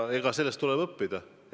Ja sellest tuleb õppida.